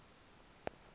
nana mhla nje